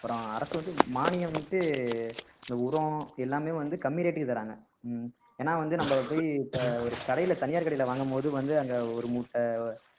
அப்புறம் அரசு வந்து மானியம்ன்னுட்டு இந்த உரம் எல்லாமே வந்து கம்மி rate க்கு தர்றாங்க ஏன்னா வந்து நம்ம போய் இப்ப ஒரு கடையில தனியார் கடையில வாங்கும்போது வந்து அங்க ஒரு மூட்டை